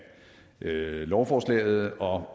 lovforslaget og